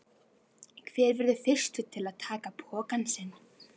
Hver verður fyrstur til að taka pokann sinn?